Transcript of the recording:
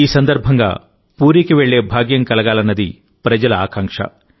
ఈ సందర్భంగా పూరీకి వెళ్లే భాగ్యం కలగాలన్నది ప్రజల ఆకాంక్ష